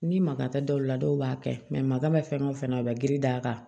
Ni maka taa dɔw la dɔw b'a kɛ makan mɛ fɛn o fɛn na a bɛ giri d'a kan